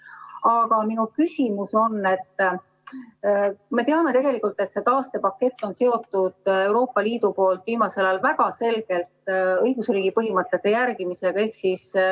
Aga minu küsimus on selle kohta, et me teame, et see taastepakett on väga selgelt Euroopa Liidu poolt viimasel ajal seotud õigusriigi põhimõtete järgimisega.